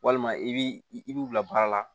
Walima i bi i b'u bila baara la